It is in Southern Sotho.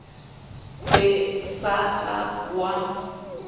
be o sa ka wa